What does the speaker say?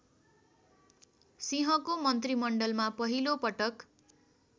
सिंहको मन्त्रीमण्डलमा पहिलोपटक